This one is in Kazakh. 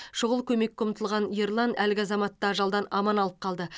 шұғыл көмекке ұмтылған ерлан әлгі азаматты ажалдан аман алып қалды